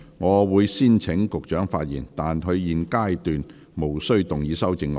我會先請局長發言，但他在現階段無須動議修正案。